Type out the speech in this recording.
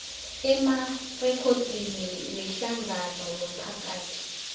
emarekhodini wehlangano yomphakathi